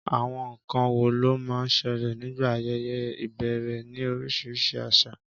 Àwọn nkan wo ló máa ń ṣẹlẹ̀ nígbà ayẹyẹ ìbẹ̀rẹ̀ ní oríṣiríṣi àṣà?